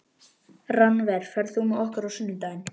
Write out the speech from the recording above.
Rannver, ferð þú með okkur á sunnudaginn?